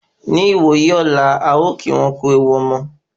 Ní ìwòyí ọ̀la,à o kí wọn kú ewu omo